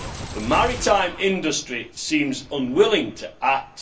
The maritime industry seems unwilling to act.